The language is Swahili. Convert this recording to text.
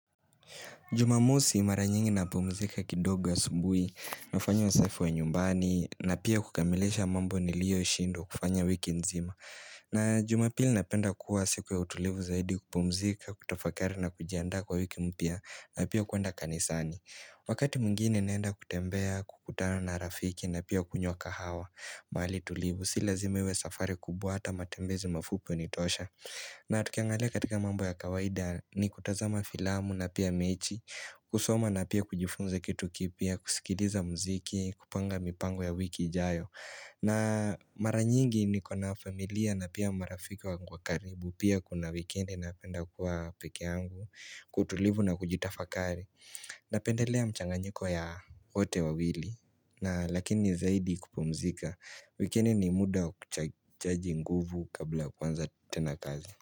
Jumamosi mara nyingi napumzika kidogo ya asubuhi, nafanya usafi wa nyumbani, na pia kukamilisha mambo niliyoshindwa kufanya wiki nzima. Na jumapili napenda kuwa siku ya utulivu zaidi kupumzika, kutafakari na kujiandaa kwa wiki mpya, na pia kuenda kanisani. Wakati mwingine naenda kutembea, kukutana na rafiki, na pia kunywa kahawa, mahali tulivu, si lazima iwe safari kubwa hata matembezi mafupi hunitosha. Na tukiangalia katika mambo ya kawaida ni kutazama filamu na pia mechi kusoma na pia kujifunza kitu kipya, kusikiliza muziki, kupanga mipango ya wiki ijayo na mara nyingi niko na familia na pia marafika wangu wa karibu Pia kuna wikendi napenda kuwa peke yangu, kwa utulivu na kujitafakari Napendelea mchanganyiko ya wote wawili na lakini zaidi kupumzika wikendi ni muda kuchaji nguvu kabla kuanza tena kazi.